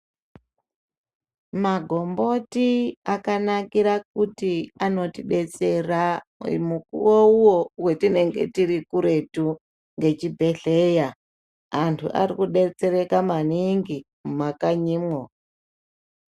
Magomboti akanakira kuti anotibetsera mumukowo uye wetinenge tiri kuretu ngechibhedleya. Antu ari kudetsereka maningi mumakanyimwo.